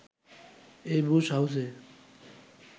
এই বুশ হাউসে